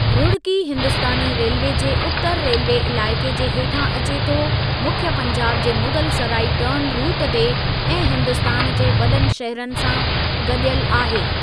Roorkee Hindustani railway जे उतरु railway इलाइक़े जे हेठां अचे थो मुख्यु पंजाब जे मुग़ल सराई टर्न रुटु ते ऐं हिन्दुस्तान जे वॾनि शहरनि सां ॻंढियल आहे।